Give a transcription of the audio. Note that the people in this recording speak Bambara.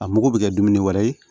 A mugu bɛ kɛ dumuni wɛrɛ ye